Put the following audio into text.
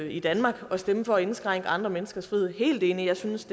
i danmark og stemme for at indskrænke andre menneskers frihed helt enig jeg synes